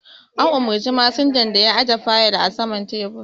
An umurci masinjan da ya aje fayil a saman tebur